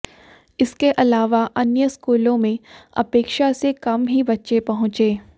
इसके अलावा अन्य स्कूलों में अपेक्षा से कम ही बच्चे पहुंचे